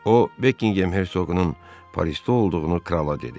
O, Bekingham Herzoqunun Parisdə olduğunu krala dedi.